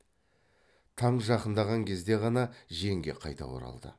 таң жақындаған кезде ғана жеңге қайта оралды